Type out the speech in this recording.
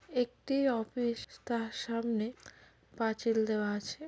একটি অফিস তার সামনে পাঁচিল দেওয়া আছে ।